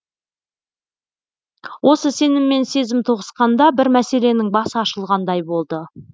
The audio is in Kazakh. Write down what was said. осы сенім мен сезім тоғысқанда бір мәселенің басы ашылғандай болды